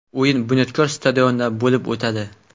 O‘yin ‘Bunyodkor’ stadionida bo‘lib o‘tadi”.